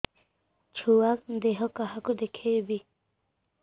ଛୁଆ ଦେହ କାହାକୁ ଦେଖେଇବି